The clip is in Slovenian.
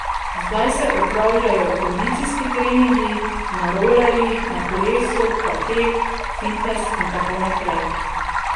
Zdaj se opravljajo kondicijski treningi, na rolerjih, na kolesu, pa tek, fitnes in tako naprej.